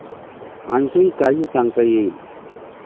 'आणखीन काही सांगता येईल?